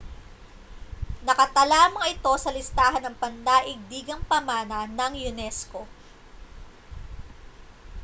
nakatala ang mga ito sa listahan ng pandaigdigang pamana ng unesco